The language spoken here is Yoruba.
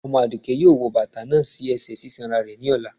Omo adùké yóò wò batà náà sí ẹsẹ sisanra rẹ ní ọlà